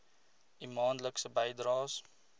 u maandelikse bydraes